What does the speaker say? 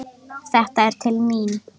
Þetta er til mín!